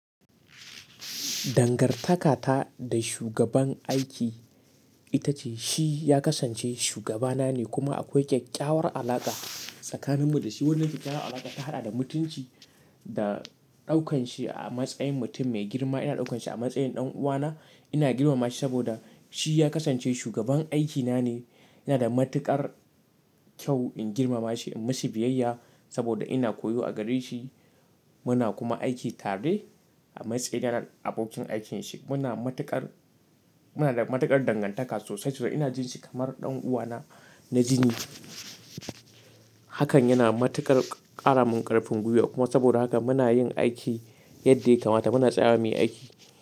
Dangantaka ta da shugaban aiki ita ce shi ya kasance shugaba na ne kuma akwai ƙyaƙƙyawar alaƙa tsakaninmu da shi. Wannan ƙyaƙƙyawar alaƙa ta haɗa da mutunci da ɗaukan shi a matsayin mutum mai girma. Ina ɗaukan shi a matsayin ɗan uwana. Ina girmama shi saboda shi ya kasance shugaban aikina ne. Ina da matuƙar kyau in girmama shi, in mishi biyayya saboda ina koyo a gare shi. Muna kuma aiki tare a matsayina na abokin aikinsa. Muna da matuƙar dangantaka sosai sosai. Ina jin shi kamar ɗan uwana na jini. Hakan yana matuƙar ƙara min ƙarfin gwiwa kuma saboda haka muna yin aiki yadda ya kamata. Muna tsayawa muyi aiki.